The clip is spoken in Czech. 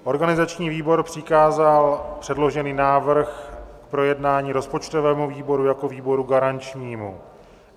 Organizační výbor přikázal předložený návrh k projednání rozpočtového výboru jako výboru garančnímu.